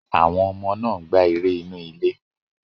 Àwọn ọmọ náà ń gbá eré inú ilé.